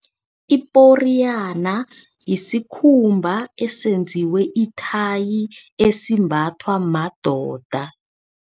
Iporiyana yisikhumba esenziwe ithayi, esimbathwa madoda.